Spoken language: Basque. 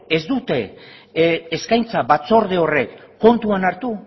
ez dute eskaintza batzorde horrek kontuan hartu